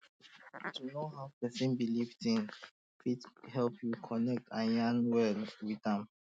to know how person believe things fit help you connect and yarn well um with am